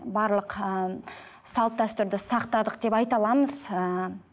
барлық ііі салт дәстүрді сақтадық деп айта аламыз ііі